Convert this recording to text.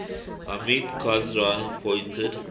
hamid karzai appointed